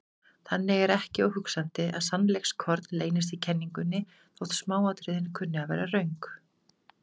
Þannig er ekki óhugsandi að sannleikskorn leynist í kenningunni þótt smáatriðin kunni að vera röng.